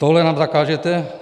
Toto nám zakážete?